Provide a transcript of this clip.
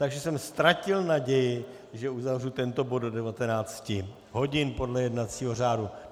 Takže jsem ztratil naději, že uzavřu tento bod do 19 hodin podle jednacího řádu.